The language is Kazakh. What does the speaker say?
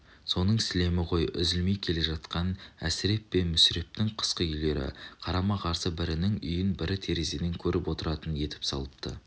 соның сілемі ғой үзілмей келе жатқан әсіреп пен мүсірептің қысқы үйлері қарама-қарсы бірінің үйін бірі терезеден көріп отыратын етіп салыпты